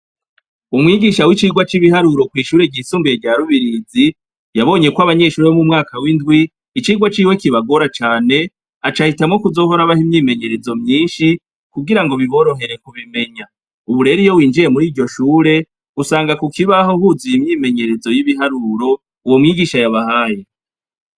Umwigisha wicigwa cibiharuro kwishure ryisumbuye rya rubirizi yabonyeko abanyshure bo mumwaka windwi icigwa ciwe kibagora cane acahitamwo kuzohora abaha imyimenyerezo myinshi kugirango biborohere kubimenya, ubu rero iyo winjiye muriryo shure usanga kukibaho huzuye imyimenyerezo yibiharuro uwo mwigisha yabahaye.